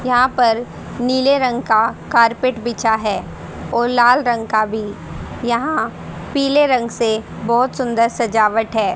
यहां पर नीले रंग का कारपेट बिछा है और लाल रंग का भी यहां पीले रंग से बहोत सुंदर सजावट है।